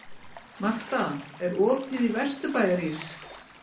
Marta, er opið í Vesturbæjarís?